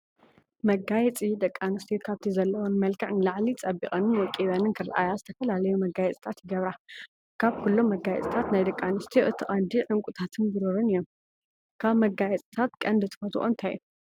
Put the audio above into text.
መጋየፂ፡- ደቂ ኣንስትዮ ካብቲ ዘለዎን መልክዕ ንላዕሊ ፀቢቐንን ወቂበንን ክረአያ ዝተፈላለዩ መጋየፂታት ይገብራ፡፡ ካብኩሎም መጋየፅታት ናይ ኣንስትዮ እቲ ቀንዲ ዕንቁታት ብሩሩን እዮም፡፡ ካብ መጋፂታት ቀንዲ ትፈትዎኦ እንታይ እዩ?